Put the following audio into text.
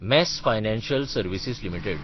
mass financial services limited